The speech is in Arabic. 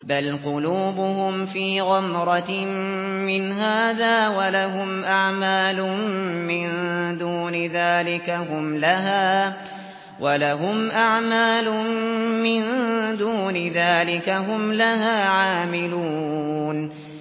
بَلْ قُلُوبُهُمْ فِي غَمْرَةٍ مِّنْ هَٰذَا وَلَهُمْ أَعْمَالٌ مِّن دُونِ ذَٰلِكَ هُمْ لَهَا عَامِلُونَ